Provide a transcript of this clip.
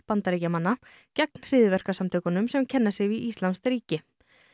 Bandaríkjamanna gegn hryðjuverkasamtökunum sem kenna sig við íslamskt ríki